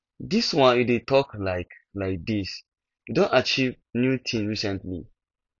dis one you dey talk like like dis you don achieve new thing recently